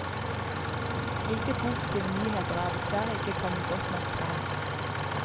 Slike positive nyheter er dessverre ikke kommet godt nok frem.